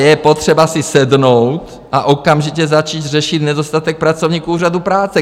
Je potřeba si sednout a okamžitě začít řešit nedostatek pracovníků úřadu práce.